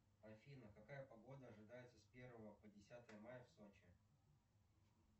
афина какая погода ожидается с первого по десятое мая в сочи